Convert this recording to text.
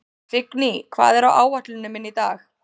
Signý, hvað er á áætluninni minni í dag?